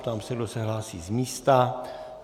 Ptám se, kdo se hlásí z místa.